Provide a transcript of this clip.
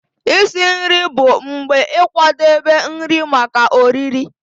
Isi nri bụ mgbe ịkwadebe nri maka oriri.